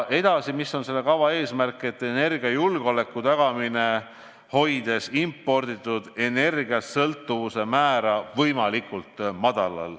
Samuti on selle kava eesmärk tagada energiajulgeolek, hoides imporditud energiast sõltuvuse määra võimalikult madalal.